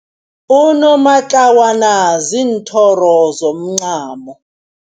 Unomatlawana ziinthoro zomncamo.